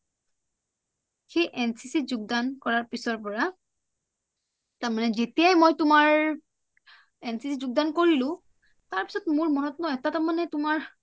সেই এনচিচি যোগদান কৰাৰ পিছৰ পৰা তাৰমানে যেতিয়াই মই তোমাৰ এন চি চি ত যোগদান কৰিলো তাৰপিছিত মোৰ মনত ন এটা মানে তোমাৰ